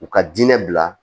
U ka diinɛ bila